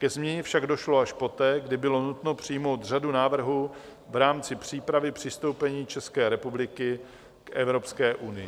Ke změně však došlo až poté, kdy bylo nutno přijmout řadu návrhů v rámci přípravy přistoupení České republiky k Evropské unii.